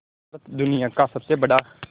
भारत दुनिया का सबसे बड़ा